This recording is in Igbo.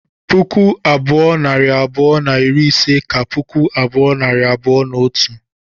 puku abụọ, nari abụọ na iri ise ka puku abụọ, nari abụọ na otu